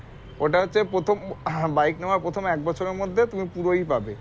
ওইটা হচ্ছে প্রথম bike নেওয়ার প্রথম এক বছরের মধ্যে তুমি পুরোই পাবে